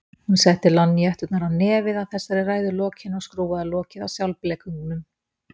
Hún setti lonníetturnar á nefið að þessari ræðu lokinni og skrúfaði lokið af sjálfblekungnum.